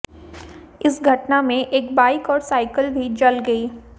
इस घटना में एक बाइक और साइकल भी जल गई